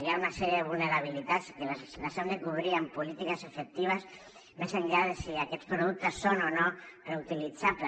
hi ha una sèrie de vulnerabilitats i les hem de cobrir amb polítiques efectives més enllà de si aquests productes són o no reutilitzables